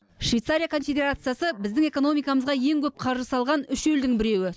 швейцария конфедерациясы біздің экономикамызға ең көп қаржы салған үш елдің біреуі